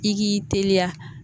I k'i teliya